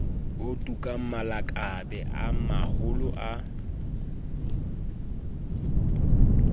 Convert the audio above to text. otukang malakabe a maholo a